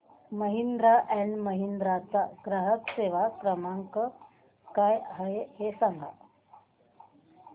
Mahindra and Mahindra चा ग्राहक सेवा क्रमांक काय आहे हे सांगा